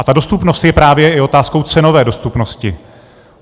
A ta dostupnost je právě i otázkou cenové dostupnosti.